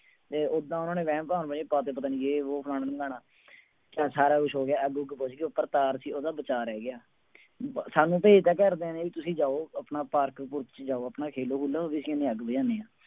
ਤੇ ਓਦਾਂ ਉਹਨਾਂ ਨੇ ਵਹਿਮ ਭਰਮ ਜਿਹੇ ਪਾ ਦਿੱਤੇ ਪਤਾ ਨੀ ਜੇ ਵੋਹ ਫਲਾਣਾ ਧਮਕਾਣਾ, ਚੱਲ ਸਾਰਾ ਕੁਛ ਹੋ ਗਿਆ ਅੱਗ ਉੱਗ ਬੁੱਝ ਗਈ ਉੱਪਰ ਤਾਰ ਸੀ ਉਹਦਾ ਬਚਾਅ ਰਹਿ ਗਿਆ, ਸਾਨੂੰ ਭੇਜ ਦਿੱਤਾ ਘਰਦਿਆਂ ਨੇ ਵੀ ਤੁਸੀਂ ਜਾਓ ਆਪਣਾ ਪਾਰਕ ਪੂਰਕ ਚ ਜਾਓ ਆਪਣਾ ਖੇਲੋ ਖੂਲੂ ਵੀ ਅਸੀਂ ਅੱਗ ਬੁਝਾਉਂਦੇ ਹਾਂ।